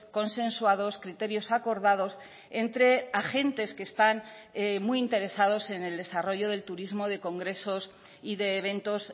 consensuados criterios acordados entre agentes que están muy interesados en el desarrollo del turismo de congresos y de eventos